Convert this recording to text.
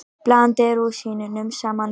Blandið rúsínunum saman við.